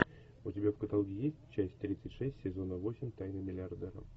у тебя в каталоге есть часть тридцать шесть сезона восемь тайны миллиардера